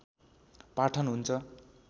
पाठन हुन्छ